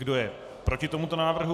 Kdo je proti tomuto návrhu?